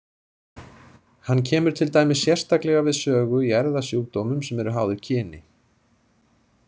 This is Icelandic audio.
Hann kemur til dæmis sérstaklega við sögu í erfðasjúkdómum sem eru háðir kyni.